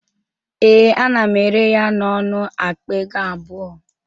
Ee, ana m ere ya n'ọnụ akpa ego abụọ